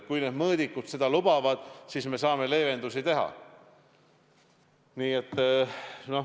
Kui mõõdikud seda lubavad, siis me saame leevendusi teha.